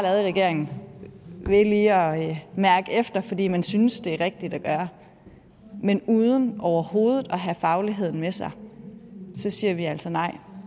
regeringen ved lige at mærke efter fordi man synes det er rigtigt at gøre men uden overhovedet at have fagligheden med sig så siger vi altså nej